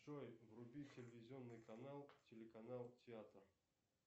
джой вруби телевизионный канал телеканал театр